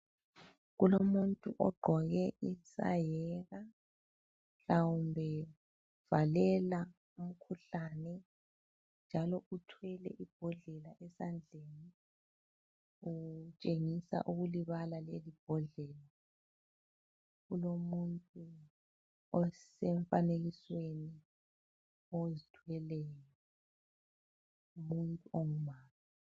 Kulomuntu ogqoke isayeka mhlawumbe uvalela umkhuhlane njalo uthwele ibhodlela esandleni, utshengisa ukulibala leli bhodlela kulomuntu osemfanikisweni ozithweleyo umuntu ongumama.